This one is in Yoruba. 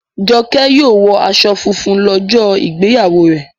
Joke yíò wò aṣọ fúnfún lójó ìgbéyàwó rẹ.